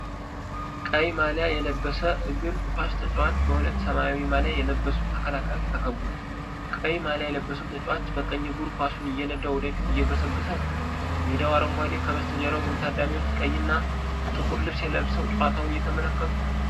ቀይ ማሊያ የለበሰ እግር ኳስ ተጫዋች በሁለት ሰማያዊ ማሊያ የለበሱ ተከላካዮች ተከቧል። ቀይ ማሊያ የለበሰው ተጫዋች በቀኝ እግሩ ኳሱን እየነዳ ወደፊት እየገሰገሰ ነው። ሜዳው አረንጓዴ፣ ከበስተጀርባው ብዙ ታዳሚዎች ቀይና ጥቁር ልብስ ለብሰው ጨዋታውን እየተመለከቱ ነው።